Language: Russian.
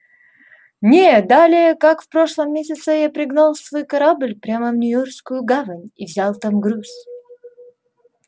не далее как в прошлом месяце я пригнал свой корабль прямо в нью-йоркскую гавань и взял там груз